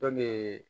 Dɔn de